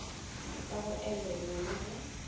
ka go elelwa le go